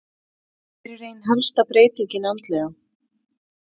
Hver er ein helsta breytingin andlega?